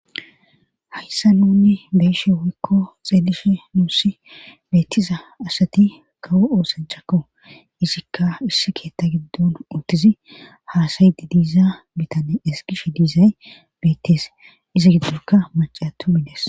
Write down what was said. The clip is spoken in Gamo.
Hayssa nunni beeshe woykko xeelishe nuussi beettiza asati kawo oosanchakko izikka issi keetta giddon untizi haasaydi diiza bitane eskishe diizay beettes izi giddokka macaatu mides